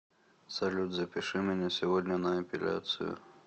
салют запиши меня сегодня на эпиляцию